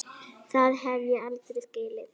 Það hef ég aldrei skilið.